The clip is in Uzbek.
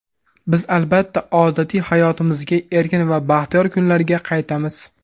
Biz, albatta, odatiy hayotimizga, erkin va baxtiyor kunlarga qaytamiz.